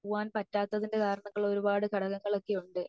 പോവാൻ പറ്റാത്തതിന്റെ കാരണങ്ങൾ ഒരുപാട് ഘടകങ്ങൾ ഒക്കെ ഉണ്ട്